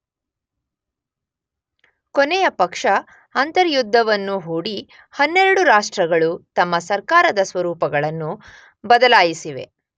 ಕೊನೆಯ ಪಕ್ಷ ಅಂತರ್ಯುದ್ಧವನ್ನು ಹೂಡಿ 12 ರಾಷ್ಟ್ರಗಳು ತಮ್ಮ ಸರ್ಕಾರದ ಸ್ವರೂಪಗಳನ್ನು ಬದಲಾಯಿಸಿವೆ.